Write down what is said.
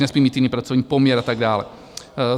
Nesmí mít jiný pracovní poměr a tak dále.